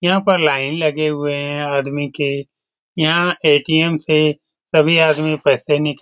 यहां पर लाइन लगे हुए है आदमी के यहां ए.टी.एम. से सभी आदमी पैसे निका --